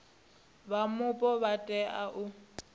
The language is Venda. vha mupo vha tea u